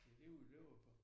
Det jo det vi løber på